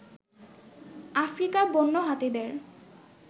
আফ্রিকার বন্য হাতিদের